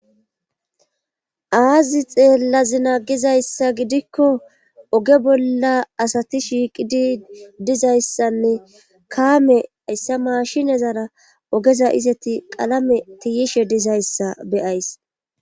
aazi xeellazina gizayssa gidikko oge bolla asati shiiqidi dizayssanne kaame ayssa mashinezara ogeza iseti qalame tiyishe dizayssa beyays